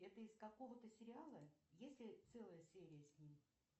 это из какого то сериала есть ли целая серия с ним